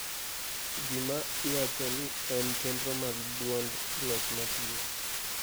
gima iwacho ni en chenro mag duond loch matiyo